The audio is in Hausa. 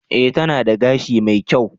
E, tana da gashi mai kyau.